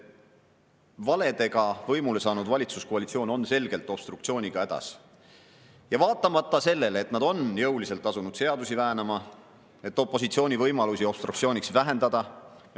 Valedega võimule saanud valitsuskoalitsioon on selgelt obstruktsiooniga hädas, vaatamata sellele, et nad on jõuliselt asunud seadusi väänama, et opositsiooni võimalusi obstruktsiooniks vähendada.